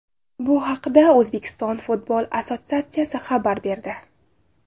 Bu haqda O‘zbekiston futbol assotsiatsiyasi xabar berdi .